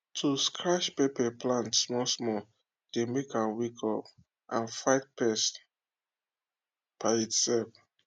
to scratch pepper plant small small dey make am wake up and fight pest by itself